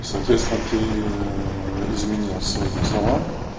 и соответственно ты изменил своим словам